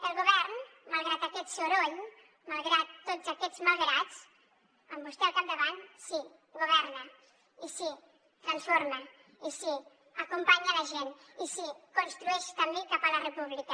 el govern malgrat aquest soroll malgrat tots aquests malgrats amb vostè al capdavant sí governa i sí transforma i sí acompanya la gent i sí construeix també cap a la república